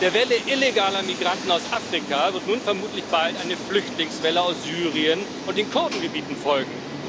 Der Welle illegaler Migranten aus Afrika wird nun vermutlich bald eine Flüchtlingswelle aus Syrien und den Kurdengebieten folgen.